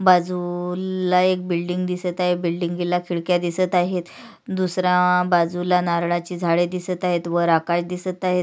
बाजूला एक बिल्डिंग दिसत आहे बिल्डिंग ला खिडक्या दिसत आहेत दुसऱ्या बाजूला नारळाची झाड दिसत आहेत वर आकाश दिसत आहेत.